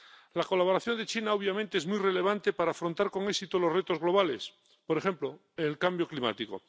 La colaboración de China, obviamente, es muy relevante para afrontar con éxito los retos globales, por ejemplo, el cambio climático.